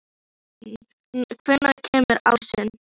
Norðmann, hvenær kemur ásinn?